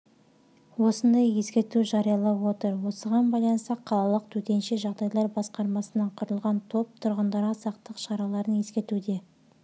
осындай ескерту жариялап отыр осыған байланысты қалалық төтенше жағдайлар басқармасынан құралған топ тұрғындарға сақтық шараларын ескертуде